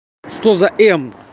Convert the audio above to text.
что за